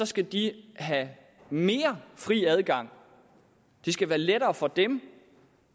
skal de have mere fri adgang det skal være lettere for dem